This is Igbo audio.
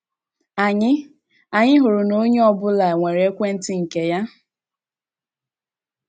“ Anyị “ Anyị hụrụ na onye ọ bụla nwere ekwenti nke ya. ”